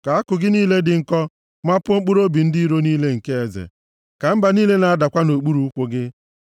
Ka àkụ gị niile dị nkọ mapuo mkpụrụobi ndị iro niile nke eze; ka mba niile na-adakwa nʼokpuru ụkwụ gị.